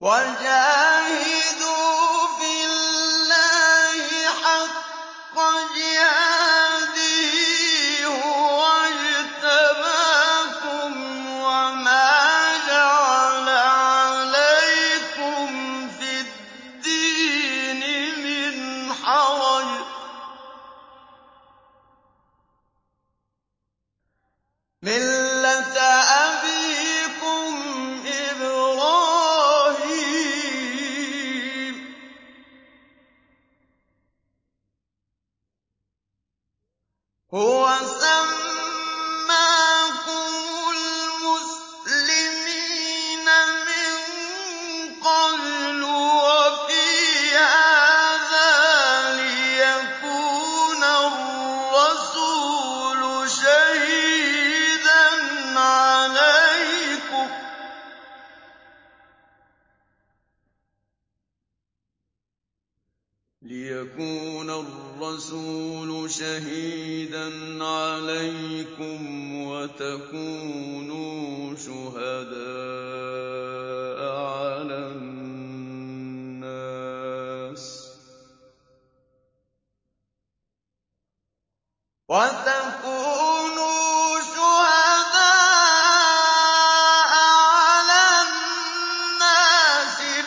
وَجَاهِدُوا فِي اللَّهِ حَقَّ جِهَادِهِ ۚ هُوَ اجْتَبَاكُمْ وَمَا جَعَلَ عَلَيْكُمْ فِي الدِّينِ مِنْ حَرَجٍ ۚ مِّلَّةَ أَبِيكُمْ إِبْرَاهِيمَ ۚ هُوَ سَمَّاكُمُ الْمُسْلِمِينَ مِن قَبْلُ وَفِي هَٰذَا لِيَكُونَ الرَّسُولُ شَهِيدًا عَلَيْكُمْ وَتَكُونُوا شُهَدَاءَ عَلَى النَّاسِ ۚ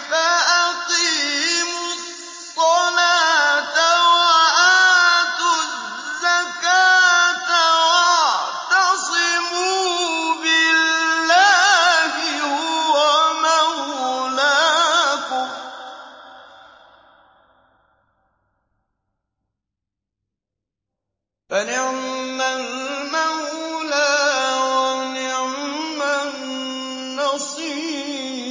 فَأَقِيمُوا الصَّلَاةَ وَآتُوا الزَّكَاةَ وَاعْتَصِمُوا بِاللَّهِ هُوَ مَوْلَاكُمْ ۖ فَنِعْمَ الْمَوْلَىٰ وَنِعْمَ النَّصِيرُ